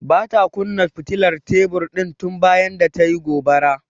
Bata kunna fitilar tebur din tun bayan da tayi gobara.